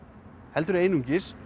heldur einungis